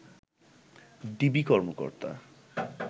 DB কর্মকর্তা